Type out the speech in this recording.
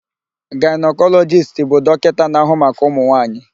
Gaịnakọlọjist bụ dọkịta na-ahụ maka ụmụnwaanyị.